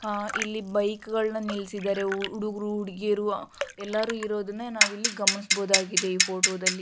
ಹಾ ಇಲ್ಲಿ ಬೈಕುಗ ಳನ್ನು ನಿಲ್ಲಿಸಿದ್ದಾರೆ ಹುಡುಗರು ಹುಡುಗೀರು ಎಲ್ಲರನ್ನು ಇರುವದನ್ನ ನಾವು ಗಮನಿಸಬಹುದಾಗಿದೆ ಈ ಫೊಟೊ ದಲ್ಲಿ .